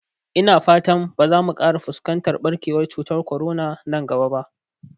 Ina fata ba za mu ƙara fuskantar ɓarkewar cutar korona nan gaba ba